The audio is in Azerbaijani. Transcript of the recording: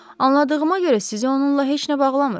Anladığıma görə sizi onunla heç nə bağlamır.